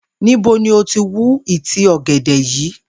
Níbo ni o ti wú ìtí ò̩gè̩dè̩ yìí?